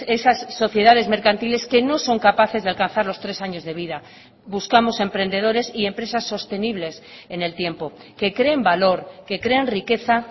esas sociedades mercantiles que no son capaces de alcanzar los tres años de vida buscamos emprendedores y empresas sostenibles en el tiempo que creen valor que creen riqueza